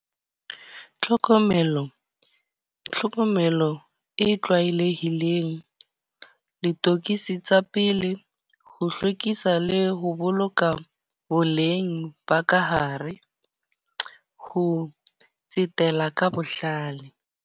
Tlhokomelo, tlhokomelo e tlwaelehileng. Ditokiso tsa pele. Ho hlwekisa le ho boloka boleng ba ka hare, ho tsetela ka bohlale.